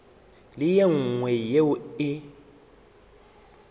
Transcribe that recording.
le ye nngwe yeo e